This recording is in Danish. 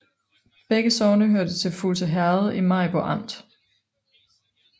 Begge sogne hørte til Fuglse Herred i Maribo Amt